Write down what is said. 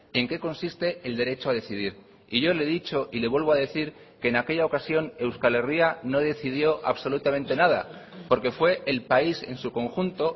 en qué consiste el derecho a decidir y yo le he dicho y le vuelvo a decir que en aquella ocasión euskal herria no decidió absolutamente nada porque fue el país en su conjunto